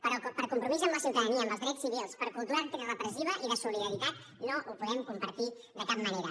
però per compromís amb la ciutadania amb els drets civils per cultura antirepressiva i de solidaritat no ho podem compartir de cap manera